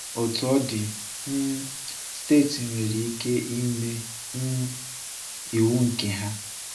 Otú ọ dị, um steeti nwere ikike ịme um iwu nke ha.